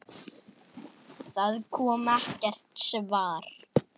Það kom ekkert svar.